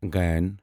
غ